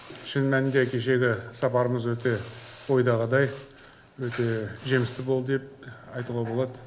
шын мәнінде кешегі сапарымыз өте ойдағыдай өте жемісті болды деп айтуға болады